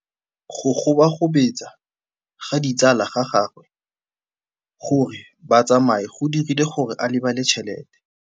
Go gobagobetsa ga ditsala tsa gagwe, gore ba tsamaye go dirile gore a lebale tšhelete.